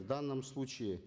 в данном случае